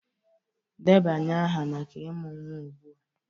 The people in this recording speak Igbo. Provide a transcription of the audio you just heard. Debanye aha maka ịmụ nwa ugbu a!